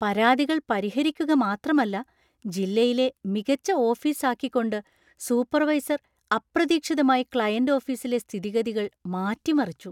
പരാതികൾ പരിഹരിക്കുക മാത്രമല്ല, ജില്ലയിലെ മികച്ച ഓഫീസ് ആക്കിക്കൊണ്ട് സൂപ്പർവൈസർ അപ്രതീക്ഷിതമായി ക്ലയന്‍റ് ഓഫീസിലെ സ്ഥിതിഗതികൾ മാറ്റിമറിച്ചു.